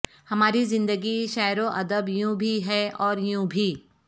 ہماری زندگی شعر و ادب یوں بھی ہے اور یوں بھی